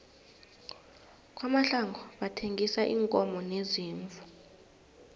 kwamahlangu bathengisa iinkomo neziimvu